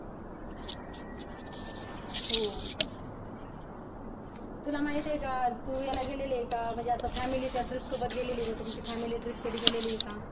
हो तुला माहित आहेका तू याला गेली आहेका म्हणजे तू family trip सोबत गेली आहे का तुमची family trip गेली आहे का